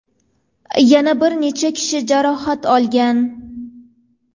Yana bir necha kishi jarohat olgan.